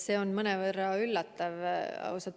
See on mõnevõrra üllatav, ausalt öeldes.